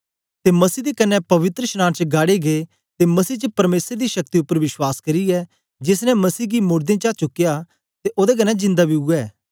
ते मसीह दे कन्ने पवित्रशनांन च गाड़े गै ते मसीह च परमेसर दी शक्ति उपर विश्वास करियै जेस ने मसीह गी मोड़दें चा चुकया ते ओदे कन्ने जिंदा बी उवै